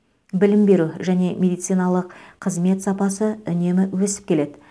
білім беру және медициналық қызмет сапасы үнемі өсіп келеді